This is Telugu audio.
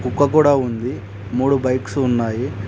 కుక్క గూడ ఉంది మూడు బైక్స్ ఉన్నాయి.